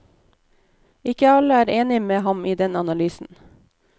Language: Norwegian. Ikke alle er enige med ham i den analysen.